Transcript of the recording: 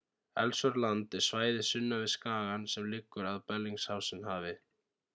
ellsworth land er svæðið sunnan við skagann sem liggur að bellingshausen-hafi